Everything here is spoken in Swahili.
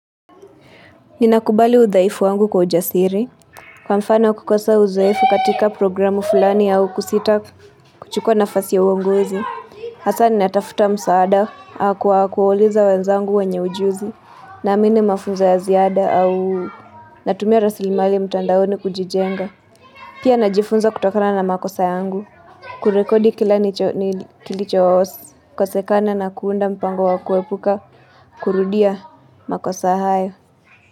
Ninakubali udhaifu wangu kwa ujasiri. Kwa mfano kukosa uzoefu katika programu fulani au kusita kuchukua nafasi ya uonguzi. Hasa ninatafuta msaada kwa kuwauliza wenzangu wanye ujuzi na amini mafunza ya ziada au natumia rasili mali mtandaoni kujijenga. Pia najifunza kutokana na makosa yangu kurekodi kila ni kilicho kosekana na kuunda mpango wa kuwepuka kurudia makosa hayo.